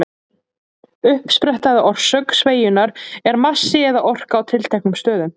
Uppspretta eða orsök sveigjunnar er massi eða orka á tilteknum stöðum.